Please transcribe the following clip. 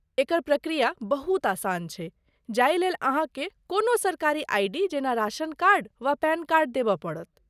एकर प्रक्रिया बहुत आसान छै, जाहि लेल अहाँके कोनो सरकारी आइ.डी. जेना राशन कार्ड, वा पैन कार्ड देबय पड़त।